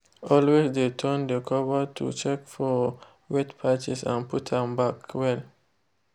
always de turn de cover to check for wet patches and put am back well.